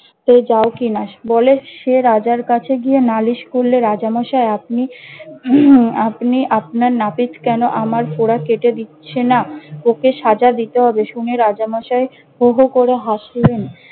সেই যাও কি নাস বলে সে রাজার কাছে গিয়ে নালিশ করলে, রাজামশাই আপনি আপনি আপনার নাপিত কেন আমার ফোঁড়া কেটে দিচ্ছে না? ওকে সাজা দিতে হবে। শুনে রাজা মশাই হু হু করে হাসলেন।